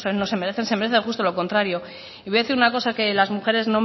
no se merecen se merecen justo lo contrario y voy a decir una cosa que a las mujeres